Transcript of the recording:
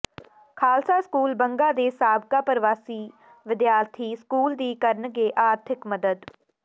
Khalsa school Banga ਦੇ ਸਾਬਕਾ ਪ੍ਰਵਾਸੀ ਵਿਦਿਆਰਥੀ ਸਕੂਲ ਦੀ ਕਰਨਗੇ ਆਰਥਿਕ ਮਦਦ